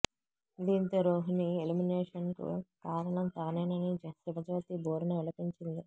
దీంతో రోహిణి ఎలిమినేషన్ కు కారణం తానేనని శివజ్యోతి భోరున విలపించింది